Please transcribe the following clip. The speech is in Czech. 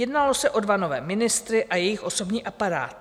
Jednalo se o dva nové ministry a jejich osobní aparát.